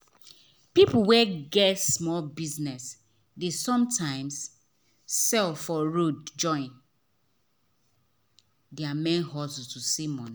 people wey get small business dey sometimes sell for road join their main hustle to see money.